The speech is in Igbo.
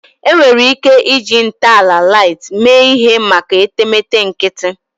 Enwere ike iji ntọala light mee ihe maka etemeete nkịtị